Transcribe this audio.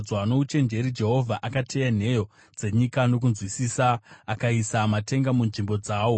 Nouchenjeri Jehovha akateya nheyo dzenyika, nokunzwisisa akaisa matenga munzvimbo dzawo;